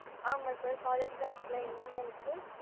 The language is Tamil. ஆமா sir, college lab ல என்ன work கு?